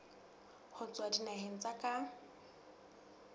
ho tswa dinaheng tsa ka